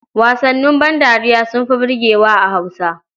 Wasannin bandariya sun fi burgewa a Hausa.